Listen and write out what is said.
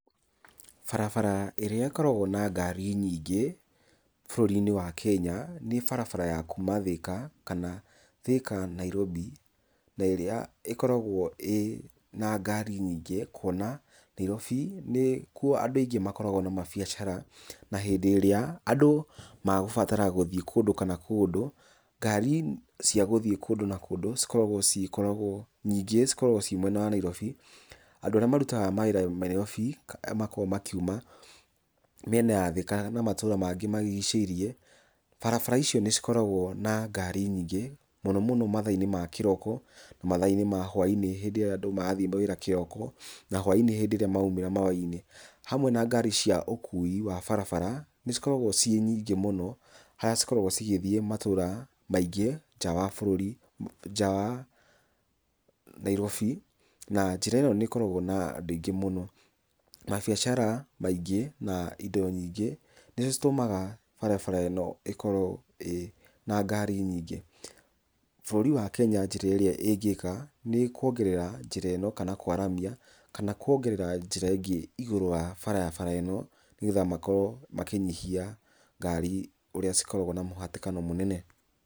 Barabara ĩrĩa ĩkoragwo na ngari nyingĩ bũrũri-inĩ wa Kenya nĩ barabara ya kuma Thĩka, kana Thĩka- Nairobi, na ĩrĩa ĩkoragwo ĩ na ngari nyingĩ, kuona Nairobi nĩkuo andũ aingĩ makoragwo na mabiacara. Na hĩndĩ ĩrĩa andũ magũbatara gũthiĩ kũndũ kana kũndũ, ngari cia gũthiĩ kũndũ na kũndũ cikoragwo nyingĩ, cikoragwo ci mwena wa Nairobi, andũ arĩa marutaga mawĩra Nairobi, kana arĩa makoragwo makiuma mĩena ya Thĩka na matũra mangĩ marigicĩirie. Barabara icio nĩ cikoragwo na ngari nyingĩ mũno mũno mathaa-inĩ ma kĩroko na mathaa-inĩ ma hwa-inĩ, hĩndĩ ĩrĩa andũ marathiĩ wĩra kĩroko na hwa-inĩ hĩndĩ ĩrĩa maraumĩra mawĩra-inĩ. Hamwe na ngari cia ũkui wa barabara, nĩ cikoragwo ciĩ nyingĩ mũno harĩa cikoragwo cigĩthiĩ matũra maingĩ nja wa bũrũri, nja wa Nairobi. Na njĩra ĩyo nĩ ĩkoragwo na andũ aingĩ mũno, mabiacara maingĩ na indo nyingĩ, nĩcio citũmaga barabara ĩno ĩkorwo ĩ na ngari nyingĩ. Bũrũri wa Kenya njĩra ĩrĩa ĩngĩka nĩ kũongerera njĩra ĩno kana kwaramia kana kuongerera njĩra ĩngĩ igũrũ wa barabara ĩno, nĩgetha makorwo makĩnyihia ngari ũrĩa cikoragwo na mũhatĩkano mũnene.